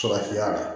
Farafinya la